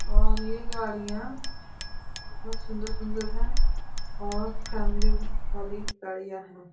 और ये गाड़ियां बहुत सुन्दर-सुंदर हैं और फैमिली वाली गाड़ियां हैं।